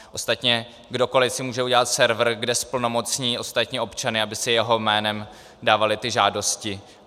Ostatně kdokoli si může udělat server, kde zplnomocní ostatní občany, aby si jeho jménem dávali ty žádosti.